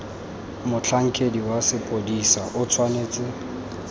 motlhankedi wa sepodisi o tshwanetse